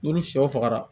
N'olu sɛw faga